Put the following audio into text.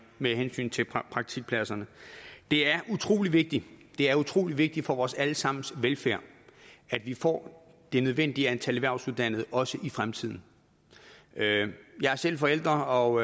med hensyn til praktikpladser det er utrolig vigtigt det er utrolig vigtigt for vores alle sammens velfærd at vi får det nødvendige antal erhvervsuddannede også i fremtiden jeg er selv forælder og